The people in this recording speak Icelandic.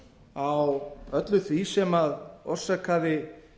á öllu því sem orsakaði